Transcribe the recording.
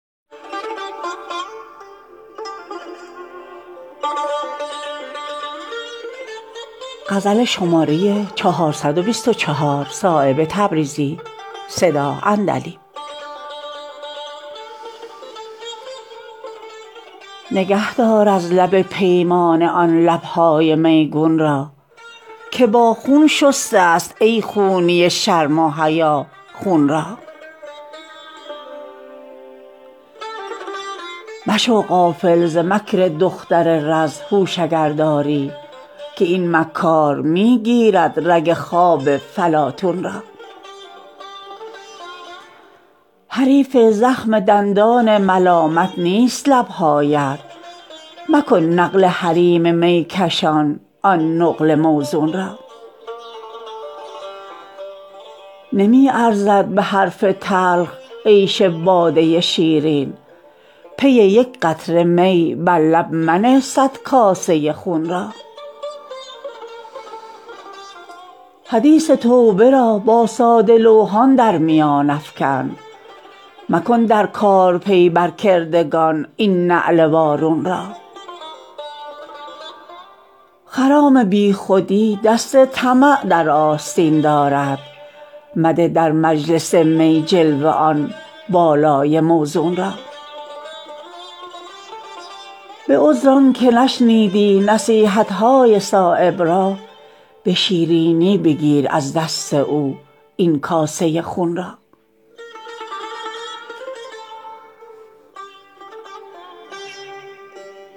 نگه دار از لب پیمانه آن لبهای میگون را که با خون شسته است ای خونی شرم و حیا خون را مشو غافل ز مکر دختر رز هوش اگر داری که این مکار می گیرد رگ خواب فلاطون را حریف زخم دندان ملامت نیست لبهایت مکن نقل حریم میکشان آن نقل موزون را نمی ارزد به حرف تلخ عیش باده شیرین پی یک قطره می بر لب منه صد کاسه خون را حدیث توبه را با ساده لوحان در میان افکن مکن در کار پی بر کردگان این نعل وارون را خرام بی خودی دست طمع در آستین دارد مده در مجلس می جلوه آن بالای موزون را به عذر آن که نشنیدی نصیحت های صایب را به شیرینی بگیر از دست او این کاسه خون را